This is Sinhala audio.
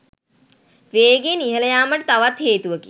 වේගයෙන් ඉහළයාමට තවත් හේතුවකි.